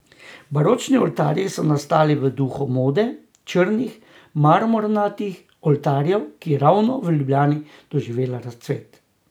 Baročni oltarji so nastali v duhu mode črnih marmornatih oltarjev, ki je ravno v Ljubljani doživela razcvet.